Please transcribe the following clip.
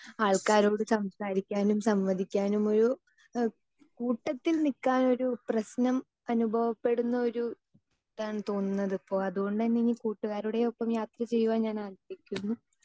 Speaker 2 ആൾക്കാരോട് സംസാരിക്കാനും സംവദിക്കാനും ഒരു ഏഹ് കൂട്ടത്തിൽ നിക്കാനൊരു പ്രശ്നം അനുഭവപ്പെടുന്നൊരു ഇതാണ് തോന്നുന്നത് ഇപ്പൊ അതുകൊണ്ടുതന്നെ ഇനി കൂട്ടുകാരുടെ ഒപ്പം യാത്ര ചെയ്യുവാൻ ഞാൻ ആഗ്രഹിക്കുന്നു.